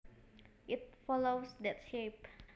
it follows that shape